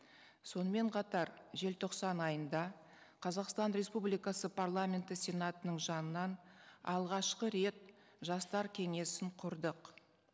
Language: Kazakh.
сонымен қатар желтоқсан айында қазақстан республикасы парламенті сенатының жанынан алғашқы рет жастар кеңесін құрдық